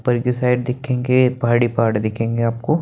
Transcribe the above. ऊपर की साइड दिखेंगे पहाड़ ही पहाड़ दिखेंगे आपको --